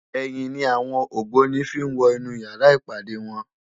Èyin ni áwòn ógbóni fi n wò inú yàrá ipádé wòn